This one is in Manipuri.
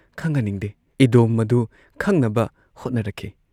ꯈꯪꯍꯟꯅꯤꯡꯗꯦ ꯏꯗꯣꯝ ꯃꯗꯨ ꯈꯪꯅꯕ ꯍꯣꯠꯅꯔꯛꯈꯤ ꯫